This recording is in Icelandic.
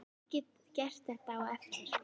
Ég get gert þetta á eftir.